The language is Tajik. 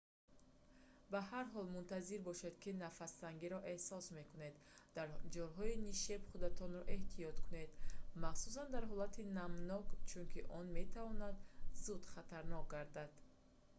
ба ҳар ҳол мунтазир бошед ки нафастангиро эҳсос мекунед дар ҷойҳои нишеб худатонро эҳтиёт кунед махсусан дар ҳолати намнок чунки он метавонад зуд хатарнок гардад